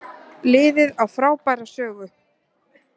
Liðið á frábæra sögu